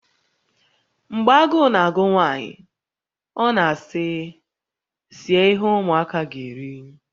Mgbe agụụ na-agụ nwaanyị, ọ na-asị, 'Sie ihe ụmụaka ga-eri.